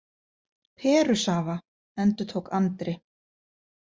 Perusafa, endurtók Andri.